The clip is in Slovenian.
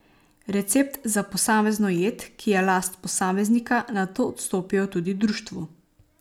Recept za posamezno jed, ki je last posameznika, nato odstopijo tudi društvu.